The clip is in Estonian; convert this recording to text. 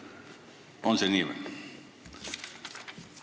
On see nii?